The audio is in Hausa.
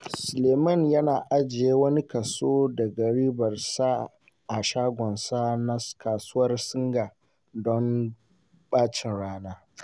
Suleiman yana ajiye wani kaso daga ribarsa a shagonsa na Kasuwar Singa don ɓacin rana.